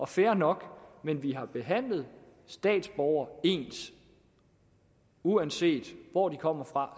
fair nok men vi har behandlet statsborgere ens uanset hvor de kommer fra